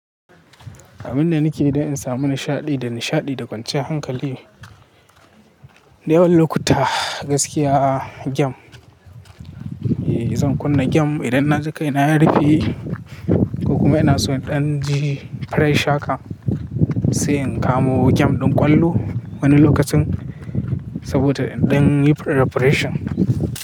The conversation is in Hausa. Amin da nike da in samu nishaɗi da nishaɗi da kwanciya hankali. Dayawan lokuta gaskiya game, eh zan kunna game idan na ji kai na ya rufe. Kokuma ina so in ɗan ji fresh haka, sai in kamo game ɗin ƙwallo wani lokacin saboda in ɗan yi preparation.